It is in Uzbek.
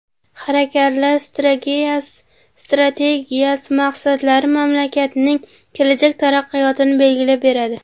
Harakatlar strategiyasi maqsadlari mamlakatning kelajak taraqqiyotini belgilab beradi.